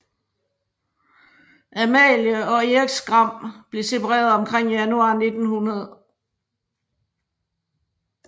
Amalie og Erik Skram blev separeret omkring januar 1900